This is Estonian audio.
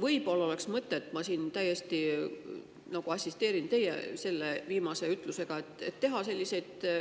Võib-olla oleks mõtet – ma siin nagu teie viimast ütlust – siiski teha meedias ja